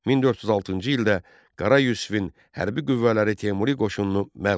1406-cı ildə Qara Yusifin hərbi qüvvələri Teymuri qoşununu məğlub etdi.